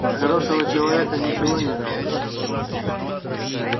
для хорошего человека ничего не жалко